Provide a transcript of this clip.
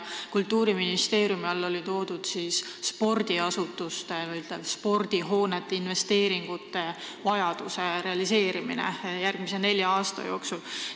Kultuuriministeeriumi all oli toodud välja spordiasutuste või spordihoonete investeeringuvajaduse realiseerimine järgmise nelja aasta jooksul.